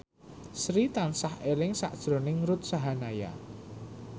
Sri tansah eling sakjroning Ruth Sahanaya